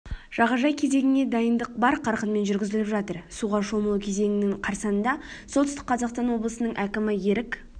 жағажай кезеңіне дайындық бар қарқынмен жүргізіліп жатыр суға шомылу кезеңінің қарсанында солтүстік қазақстан облысының әкімі ерік